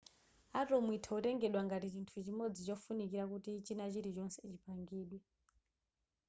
atom itha kutengedwa ngati chinthu chimodzi chofunikira kuti china chilichonse chipangidwe